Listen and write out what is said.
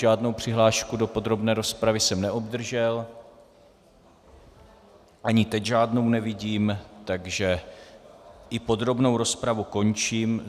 Žádnou přihlášku do podrobné rozpravy jsem neobdržel, ani teď žádnou nevidím, takže i podrobnou rozpravu končím.